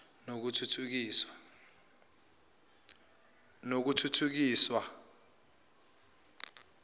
nokuthuthukiswa